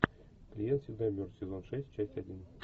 клиент всегда мертв сезон шесть часть один